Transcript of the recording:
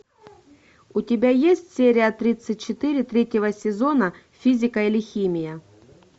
у тебя есть серия тридцать четыре третьего сезона физика или химия